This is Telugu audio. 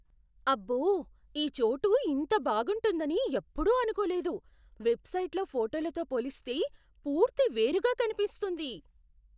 అబ్బో! ఈ చోటు ఇంత బాగుంటుందని ఎప్పుడూ అనుకోలేదు. వెబ్సైట్లో ఫోటోలతో పోలిస్తే, పూర్తి వేరుగా కనిపిస్తుంది.